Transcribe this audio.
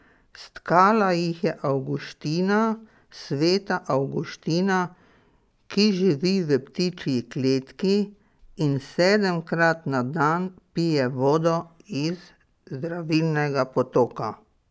Stkala jih je Avguština, Sveta Avguština, ki živi v ptičji kletki in sedemkrat na dan pije vodo iz zdravilnega potoka.